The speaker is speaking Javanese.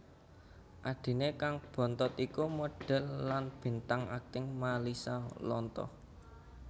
Adhiné kang bontot iku modhèl lan bintang akting Malisa Lontoh